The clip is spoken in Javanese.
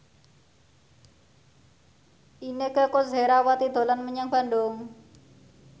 Inneke Koesherawati dolan menyang Bandung